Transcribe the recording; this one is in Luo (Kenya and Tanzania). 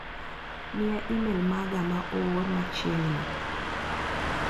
Miya imel maga ma oor machieg'ni.